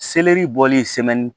Seleri bɔli semani